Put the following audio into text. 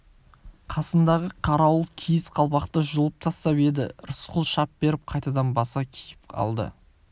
қасындағы қарауыл киіз қалпақты жұлып тастап еді рысқұл шап беріп қайтадан баса киіп алды